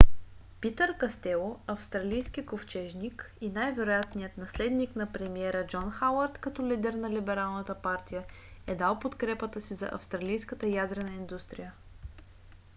питър кастело австралийски ковчежник и най-вероятният наследник на премиера джон хауърд като лидер на либералната партия е дал подкрепата си за австралийската ядрена индустрия